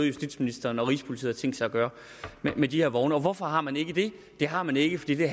justitsministeren og rigspolitiet har tænkt sig at gøre med de her vogne hvorfor har man ikke det det har man ikke fordi det